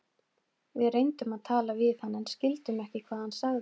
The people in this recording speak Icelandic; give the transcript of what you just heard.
Við reyndum að tala við hann en skildum ekki hvað hann sagði.